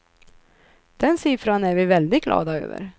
Den siffran är vi väldigt glada över.